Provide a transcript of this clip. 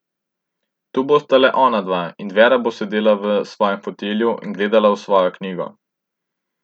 Tu bosta le onadva, in Vera bo sedela v svojem fotelju in gledala v svojo knjigo.